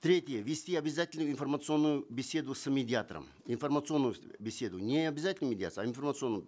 третье ввести обязательную информационную беседу с медиатором информационную беседу не обязательно медиацию а информационную